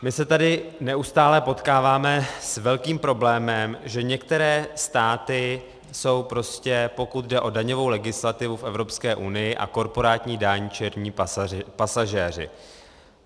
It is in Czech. My se tady neustále potkáváme s velkým problémem, že některé státy jsou prostě, pokud jde o daňovou legislativu v Evropské unii a korporátní daň, černí pasažéři.